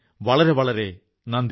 വളരെ വളരെ നന്ദി